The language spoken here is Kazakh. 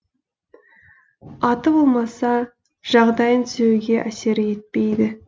аты болмаса жағдайын түзеуге әсері етпейді